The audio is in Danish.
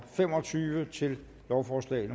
fem og tyve til lovforslag